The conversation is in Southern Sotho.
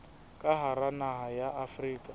ka hara naha ya afrika